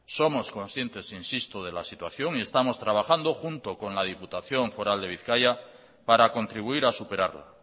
somos conscientes insisto de la situación y estamos trabajando junto con la diputación foral de bizkaia para contribuir a superarla